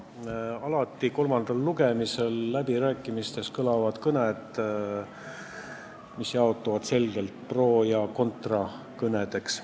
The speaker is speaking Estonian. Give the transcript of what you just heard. Ja alati on kolmandal lugemisel läbirääkimiste ajal kõlanud kõned, mis jaotuvad selgelt pro ja contra kõnedeks.